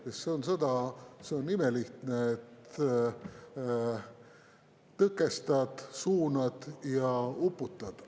Sest sõda, see on imelihtne: tõkestad, suunad ja uputad.